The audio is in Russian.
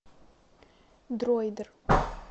дроидер